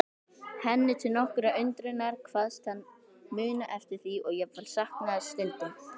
Henni til nokkurrar undrunar, kvaðst hann muna eftir því og jafnvel sakna þess stundum.